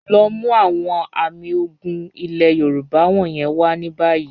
Lọ mú awọn àmì ògún ilẹ̀ Yorùbá wọ̀nyẹn wà ní báyì.